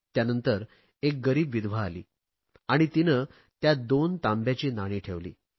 त्यानंतर एक गरीब विधवा आली आणि तिने त्यात दोन तांब्याची नाणी ठेवली